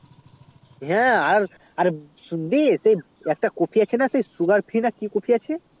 হ্যাঁ আর শুনবি একটা কোপি আছে না sugar free না কি কোপি আছে